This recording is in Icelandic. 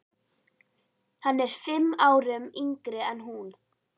Hann er fimm árum yngri en hún.